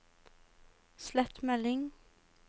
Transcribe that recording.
slett melding